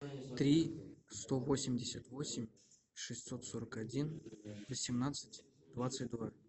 три сто восемьдесят восемь шестьсот сорок один восемнадцать двадцать два